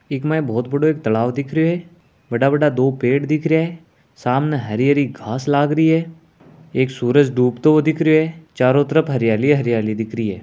इक माही बहुत बड़ों एक तालाब दिख रहियो है बडा बडा दो पेड़ दिख रहियो है सामने हरी हरी घास लाग रही है एक सूरज डूबतो हुए दिख रहियो है चारों तरफ हरियाली हरियाली दिख रही है।